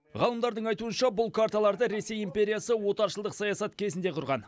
ғалымдардың айтуынша бұл карталарды ресей империясы отаршылдық саясат кезінде құрған